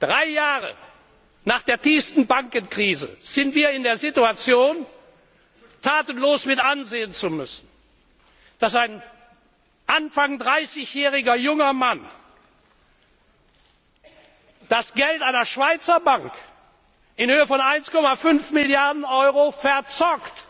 Drei Jahre nach der tiefsten Bankenkrise sind wir in der Situation, tatenlos mit ansehen zu müssen, dass ein Anfang 30 jähriger junger Mann das Geld einer Schweizer Bank in Höhe von 1,5 Milliarden Euro verzockt,